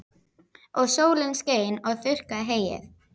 Og sólin skein og þurrkaði heyið.